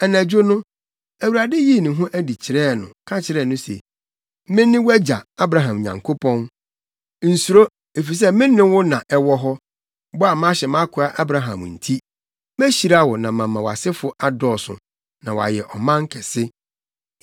Anadwo no, Awurade yii ne ho adi kyerɛɛ no, ka kyerɛɛ no se, “Mene wʼagya, Abraham Nyankopɔn. Nsuro, efisɛ me ne wo na ɛwɔ hɔ. Bɔ a mahyɛ mʼakoa Abraham nti, mehyira wo na mama wʼasefo adɔɔso, na wɔayɛ ɔman kɛse.”